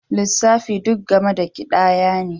Lissafi duk game da ƙidaya ne